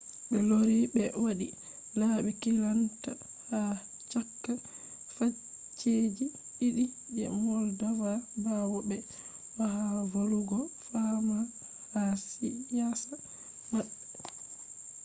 be lori be wadi labi kilanta ha chaka facceji didi je moldova bawo be do’e ha volugo fama ha siyasa mabbe